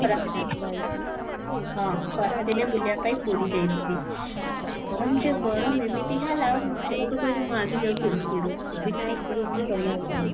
ଖରା ଦିନରେ ହଁ ଖରା ଦିନେ ବୁଲୁବା ପାଇଁ ପୁରୀ ଯାଇଥିଲି, ଗରମ ଯେ ଗରମ ଏମିତି ହେଲା ମୁଁ ସେଇଠୁ କହିଲି ମୁଁ ଆଗେ ଯାଉଛି AC room କୁ ବିନା AC room ରେ ରହି ହେବନି